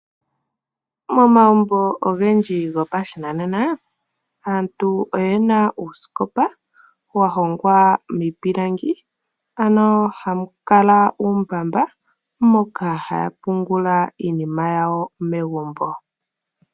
Momagumbo ogendji go pashinanena aantu oyena uusikopa wajongwa miipilangi, ano hamu kala uumbamba moka haya pungula iinima yawo megumbo.